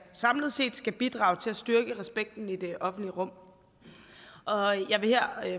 samlet set skal bidrage til at styrke respekten i det offentlige rum og jeg vil her